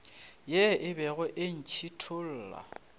ye e bego e ntšhithola